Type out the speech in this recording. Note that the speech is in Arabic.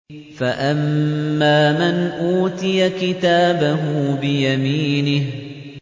فَأَمَّا مَنْ أُوتِيَ كِتَابَهُ بِيَمِينِهِ